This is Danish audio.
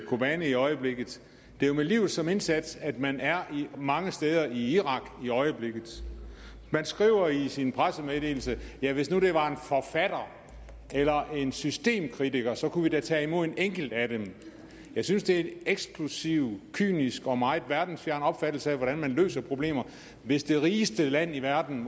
kobani i øjeblikket det er jo med livet som indsats at man er mange steder i irak i øjeblikket man skriver i sin pressemeddelelse at hvis nu det var en forfatter eller en systemkritiker så kunne vi da tage imod en enkelt af dem jeg synes det er en eksklusiv kynisk og meget verdensfjern opfattelse af hvordan man løser problemer hvis det rigeste land i verden